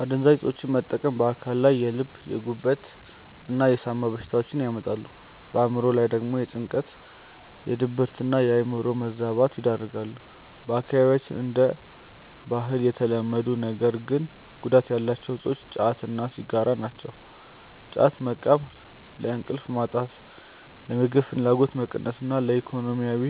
አደንዛዥ እፆችን መጠቀም በአካል ላይ የልብ፣ የጉበት እና የሳምባ በሽታዎችን ያመጣሉ፣ በአእምሮ ላይ ደግሞ ለጭንቀት፣ ለድብርትና የአእምሮ መዛባት ይዳርጋሉ። በአካባቢያችን እንደ ባህል የተለመዱ ነገር ግን ጉዳት ያላቸው እፆች ጫት እና ሲጋራ ናቸው። ጫት መቃም ለእንቅልፍ ማጣት፣ ለምግብ ፍላጎት መቀነስ እና ለኢኮኖሚያዊ